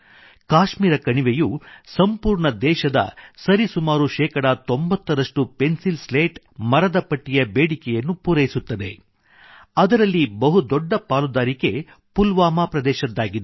ಕಾಶ್ಮೀರ ಕಣಿವೆಯು ಸಂಪೂರ್ಣ ದೇಶದ ಸರಿ ಸುಮಾರು ಶೇಕಡಾ 90 ರಷ್ಟು ಪೆನ್ಸಿಲ್ ಸ್ಲೇಟ್ ಮರದ ಪಟ್ಟಿಯ ಬೇಡಿಕೆಯನ್ನು ಪೂರೈಸುತ್ತದೆ ಅದರಲ್ಲಿ ಬಹುದೊಡ್ಡ ಪಾಲುದಾರಿಕೆ ಪುಲ್ವಾಮಾ ಪ್ರದೇಶದ್ದಾಗಿದೆ